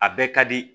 A bɛɛ ka di